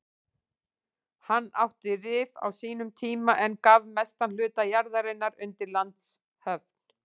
Hann átti Rif á sínum tíma en gaf mestan hluta jarðarinnar undir landshöfn.